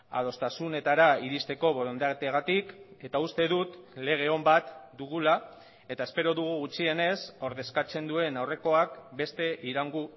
adostasunetara iristeko borondateagatik eta uste dut lege on bat dugula eta espero dugu gutxienez ordezkatzen duen aurrekoak beste iraungo